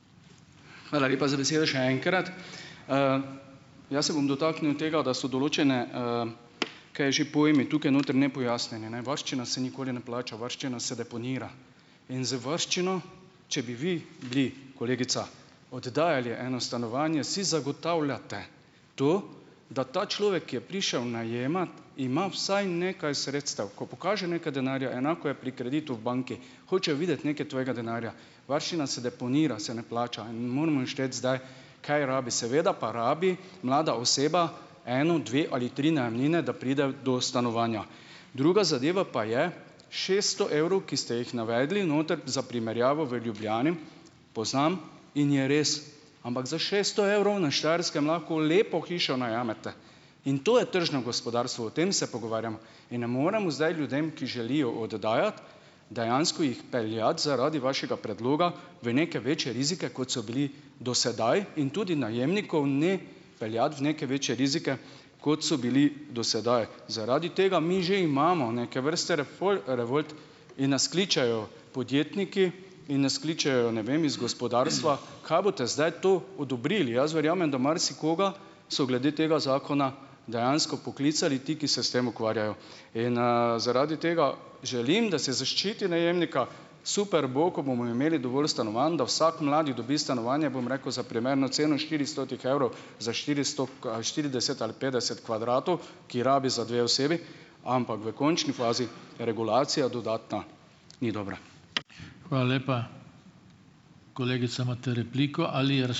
Hvala lepa za besedo še enkrat. jaz se bom dotaknil tega, da so določene, , kaj že, pojmi tukaj noter nepojasnjeni, ne. Varščina se nikoli ne plača, varščina se deponira. In z varščino, če bi vi bili, kolegica, oddajali eno stanovanje, si zagotavljate tu, da ta človek, ki je prišel najemat, ima usaj nekaj sredstev, ko pokaže nekaj denarja, enako je pri kreditu v banki. Hočejo videti nekaj tvojega denarja. Varščina se deponira, se ne plača in ne moremo jo šteti zdaj, kaj rabi, seveda pa rabi mlada oseba eno, dve ali tri najemnine, da pride do stanovanja. Druga zadeva pa je šeststo evrov, ki ste jih navedli noter za primerjavo v Ljubljani, poznam, in je res, ampak za šeststo evrov na Štajerskem lahko lepo hišo najamete. In to je tržno gospodarstvo, o tem se pogovarjamo. In ne moremo zdaj ljudem, ki želijo oddajati, dejansko jih peljati zaradi vašega predloga v neke večje rizike, kot so bili do sedaj, in tudi najemnikov ne peljati v neke večje rizike, kot so bili do sedaj. Zaradi tega mi že imamo neke vrste revolt in nas kličejo podjetniki in nas kličejo, ne vem, iz gospodarstva, kaj boste zdaj tu odobrili. Jaz verjamem, da marsikoga so glede tega zakona dejansko poklicali ti, ki se s tem ukvarjajo. In, zaradi tega želim, da se zaščiti najemnika. Super bo, ko bomo imeli dovolj stanovanj, da vsak mladi dobi stanovanje, bom rekel, za primerno ceno štiristotih evrov za štiristo ali štirideset ali petdeset kvadratov, ki rabi za dve osebi, ampak v končni fazi regulacija dodatna ni dobra. Hvala lepa. Kolegica, imate repliko ali ...